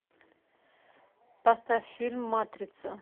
поставь фильм матрица